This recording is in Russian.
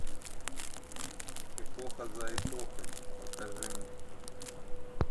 эпоха за эпохой покажи мне